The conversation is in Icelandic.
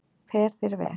Fer þér vel!